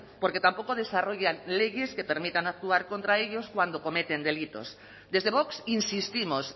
porque tampoco desarrollan leyes que permitan actuar contra ellos cuando cometen delitos desde vox insistimos